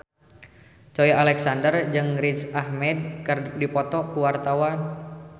Joey Alexander jeung Riz Ahmed keur dipoto ku wartawan